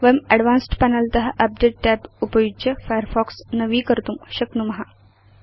वयं advanced panel त update tab उपयुज्य फायरफॉक्स नवीकर्तुं शक्नुम